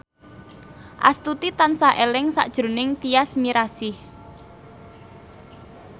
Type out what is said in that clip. Astuti tansah eling sakjroning Tyas Mirasih